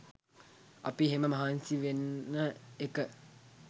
අපි එහෙම මහන්සි වෙන එක